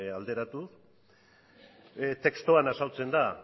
alderatu testuan azaltzen da